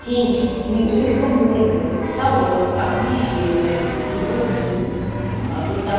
финиш не только морды салона освещение его тип порта